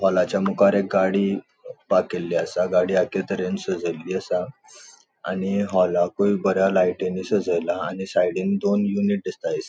हालाच्या मुखार एक गाड़ी पार्क केल्ली असा. गाड़ी आक्के तर्हेन सजेयल्ली असा आणि होलाकूय बऱ्या लायटिंनि सजेला आणि साइडीन दोन यूनिट दिसता.